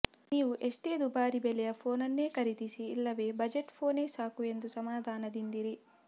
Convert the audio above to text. ನೀವು ಎಷ್ಟೇ ದುಬಾರಿ ಬೆಲೆಯ ಫೋನ್ ಅನ್ನೇ ಖರೀದಿಸಿ ಇಲ್ಲವೇ ಬಜೆಟ್ ಫೋನೇ ಸಾಕು ಎಂದು ಸಮಾಧಾನದಿಂದಿರಿ